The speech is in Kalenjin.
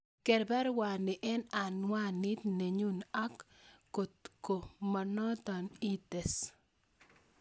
Ger baruani en anwanit nenyun ak kot ko monoto ites